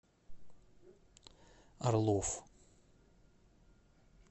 орлов